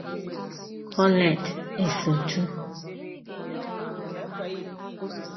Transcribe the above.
Colette Esotu